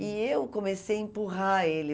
E eu comecei a empurrar ele.